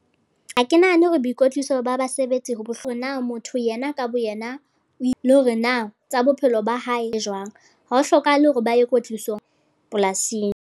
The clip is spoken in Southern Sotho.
Ha ke nahane hore boikotliso ba basebetsi . Na motho yena ka boyena, e le hore na tsa bophelo ba hae e jwang, ha ho hlokahale hore ba ye kwetliso polasing.